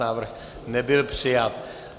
Návrh nebyl přijat.